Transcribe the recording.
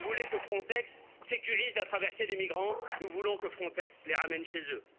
Vous voulez que Frontex sécurise la traversée des migrants, nous voulons que Frontex les ramène chez eux.